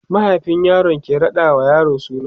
mahaifin yaro ke raɗa wa yaro suna